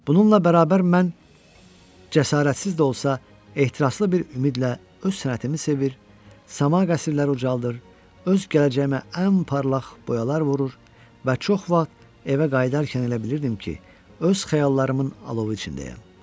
Bununla bərabər mən cəsarətsiz də olsa, ehtiraslı bir ümidlə öz sənətimi sevir, saman qəsrləri ucaldır, öz gələcəyimə ən parlaq boyalar vurur və çox vaxt evə qayıdarkən elə bilirdim ki, öz xəyallarımın alovu içindəyəm.